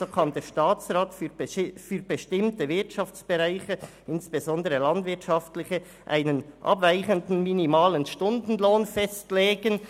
So kann der Staatsrat für bestimmte Wirtschaftsbereiche, insbesondere landwirtschaftliche, einen abweichenden minimalen Stundenlohn festlegen.»